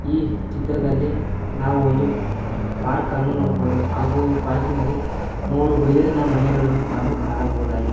ಈ ಚಿತ್ರದಲ್ಲಿ ನಾವು ಒಂದು ಪಾರ್ಕ್ ಅನ್ನು ನೋಡಬಹುದು ಹಾಗು ಈ ಪಾರ್ಕಿನಲ್ಲಿ ಮೂರು ಬಿದಿರಿನ ಮನೆಗಳು ನಾವು ಕಾಣಬಹುದಾಗಿದೆ.